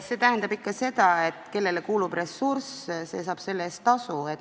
See tähendab ikka seda, et kellele kuulub ressurss, see saab selle eest tasu.